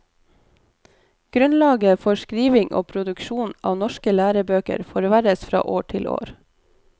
Grunnlaget for skriving og produksjon av norske lærebøker forverres fra år til år.